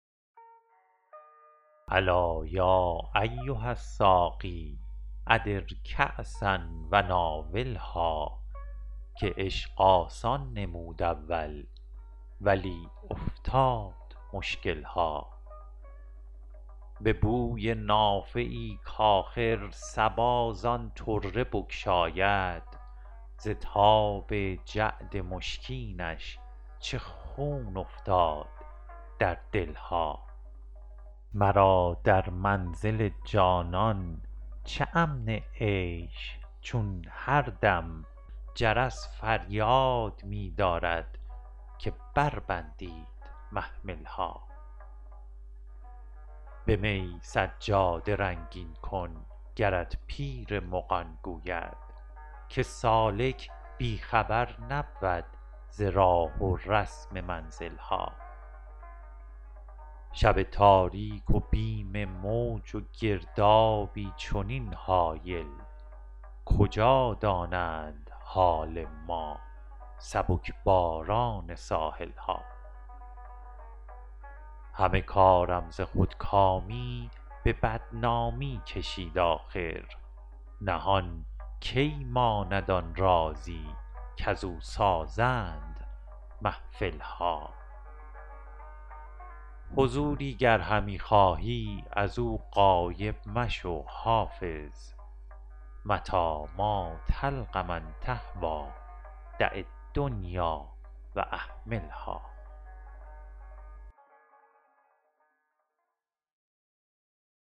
الا یا ایها الساقی ادر کأسا و ناولها که عشق آسان نمود اول ولی افتاد مشکل ها به بوی نافه ای کآخر صبا زان طره بگشاید ز تاب جعد مشکینش چه خون افتاد در دل ها مرا در منزل جانان چه امن عیش چون هر دم جرس فریاد می دارد که بربندید محمل ها به می سجاده رنگین کن گرت پیر مغان گوید که سالک بی خبر نبود ز راه و رسم منزل ها شب تاریک و بیم موج و گردابی چنین هایل کجا دانند حال ما سبک باران ساحل ها همه کارم ز خودکامی به بدنامی کشید آخر نهان کی ماند آن رازی کزو سازند محفل ها حضوری گر همی خواهی از او غایب مشو حافظ متیٰ ما تلق من تهویٰ دع الدنیا و اهملها